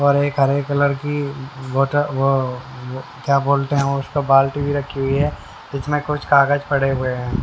और एक हरे कलर की वोट वो क्या बोलते हैं उसको बाल्टी भी रखी हुई है जिसमें कुछ कागज पड़े हुए हैं।